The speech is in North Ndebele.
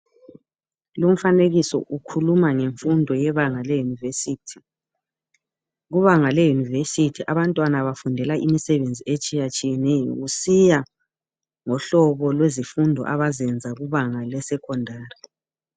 Lumfanekiso ukhuluma ngemfundo yebanga le- university. Kubanga le university abantwana bafundela imisebenzi etshiyetshiyeneyo. Kusiya ngohlobo lwezifundo abazenza kubanga lesecondary.